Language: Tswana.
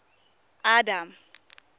adam